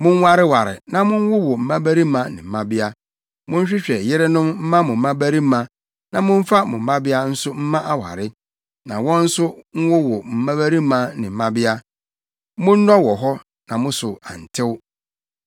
Monwareware, na monwowo mmabarima ne mmabea. Monhwehwɛ yerenom mma mo mmabarima na momfa mo mmabea nso mma aware, na wɔn nso nwowo mmabarima ne mmabea. Monnɔ wɔ hɔ na mo so antew.